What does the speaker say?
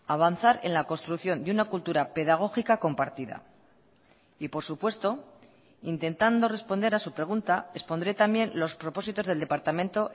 avanzar en la construcción de una cultura pedagógica compartida y por supuesto intentando responder a su pregunta expondré también los propósitos del departamento